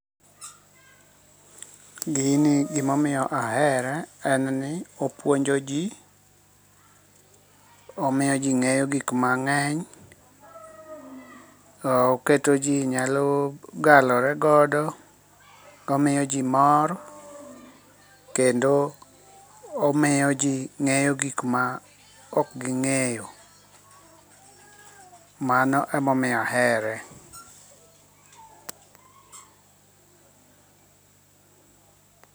Gini gimomiyo ahere, en ni opuonjon ji, omiyo ji ng'eyo gik mang'eny, oketoji nyalo galoregodo. Omiyoji mor kendo omiyoji ng'eyo gik ma ok ging'eyo. Mano emomiyo ahere.